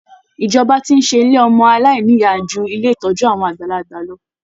Ìjọba ti ń ṣe ilé ọmọ aláìnìyá ju ilé ìtọ́jú àwọn àgbàlagbà lọ